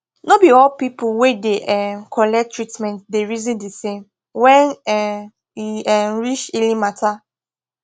no be all people wey da um collect treatment da reason de same when um e um reach healing matter